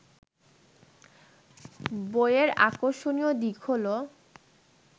বইয়ের আকর্ষণীয় দিক হলো